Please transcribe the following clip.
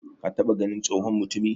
ka taba ganin tsohon mutumi?